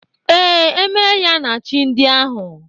Ee, emeyaa na chi ndị ahụ.